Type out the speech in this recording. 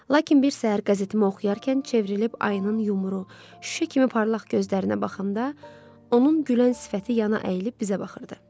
Lakin bir səhər qəzetimi oxuyarkən çevrilib ayının yumru, şüşə kimi parlaq gözlərinə baxanda, onun gülən sifəti yana əyilib bizə baxırdı.